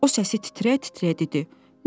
O səsi titrəyə-titrəyə dedi.